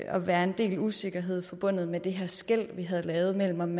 at være en del usikkerhed forbundet med det her skel vi havde lavet mellem om